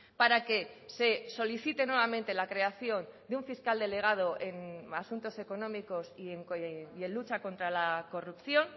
para que se solicite nuevamente la creación de un fiscal delegado en asuntos económicos y en lucha contra la corrupción